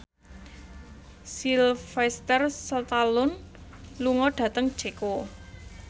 Sylvester Stallone lunga dhateng Ceko